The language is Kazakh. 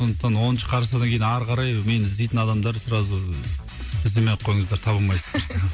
сондықтан оныншы қарашадан кейін ары қарай мені іздейтін адамдар сразу ыыы іздемей ақ қойыңыздар таба алмайсыздар